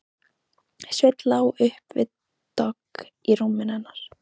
Sveinn lá upp við dogg í rúminu hennar.